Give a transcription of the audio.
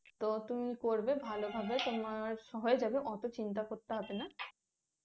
তো তুমি করবে ভালোভাবে তোমার হয়ে যাবে অত চিন্তা করতে হবে না